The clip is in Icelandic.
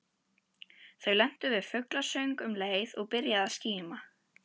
Þau lentu við fuglasöng um leið og byrjaði að skíma.